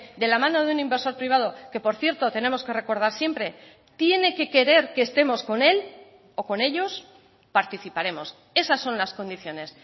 de la mano de un inversor privado que por cierto tenemos que recordar siempre tiene que querer que estemos con él o con ellos participaremos esas son las condiciones